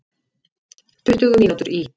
Tuttugu mínútur í